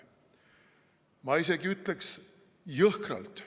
Ma isegi ütleks jõhkralt.